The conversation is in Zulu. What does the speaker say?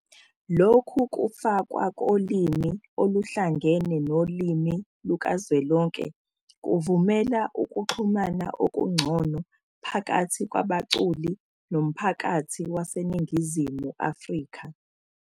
Lokhu kufakwa kolimi oluhlangene nolimi lukazwelonke kuvumela ukuxhumana okungcono phakathi kwabaculi nomphakathi baseNingizimu Afrika